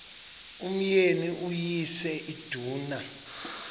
umyeni uyise iduna